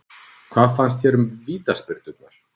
Hvað fannst þér um vítaspyrnurnar?